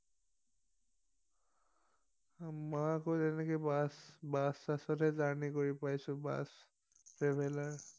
আমাৰ আকৌ এনেকে বাছ বাছ ছাচতহে জাৰ্নি কৰি পাইছো বাছ ট্ৰেভেলাৰ